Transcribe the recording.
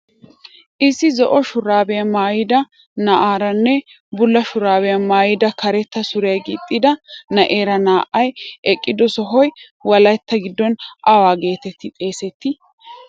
Issi zo'o shuraabiya maayida na'eeranne bulla shuraabiya maayada karetta suriya gixxida na'eera naa"ay eqqido sohoy wolaytta giddon awa geetetti xeesettii?